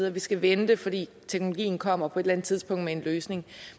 at vi skal vente fordi teknologien kommer på et eller andet tidspunkt med en løsning